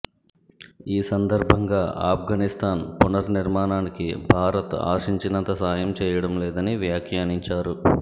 ఈ సందర్భంగా ఆఫ్గనిస్థాన్ పునర్నిర్మాణానికి భారత్ ఆశించినంత సాయం చేయడం లేదని వ్యాఖ్యానించారు